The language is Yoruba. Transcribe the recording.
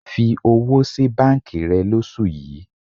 Fi owó sí báńkì rẹ lóṣù yìí.